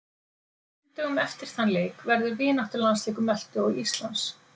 Þremur dögum eftir þann leik verður vináttulandsleikur Möltu og Íslands.